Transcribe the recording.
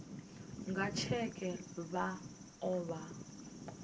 nga tsheke vha o vha